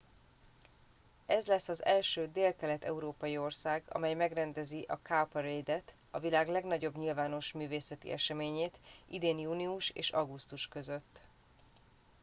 ez lesz az első délkelet európai ország amely megrendezi a cowparade et a világ legnagyobb nyilvános művészeti eseményét idén június és augusztus között